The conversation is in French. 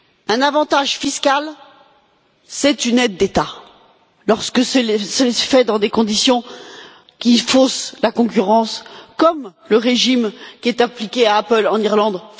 Un avantage fiscal, c'est une aide d'État, lorsque cela se fait dans des conditions qui faussent la concurrence, comme le régime qui est appliqué à Apple en Irlande.